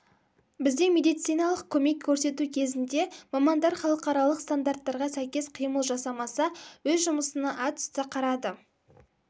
бізде медициналық көмек көрсету кезінде мамандар халықаралық стандарттарға сәйкес қимыл жасамаса өз жұмысына атүсті қарады